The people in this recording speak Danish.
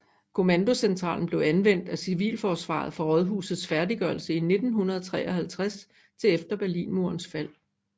Kommandocentralen blev anvendt af Civilforsvaret fra rådhusets færdiggørelse i 1953 til efter Berlinmurens fald